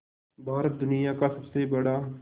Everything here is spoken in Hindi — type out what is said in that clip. भारत दुनिया का सबसे बड़ा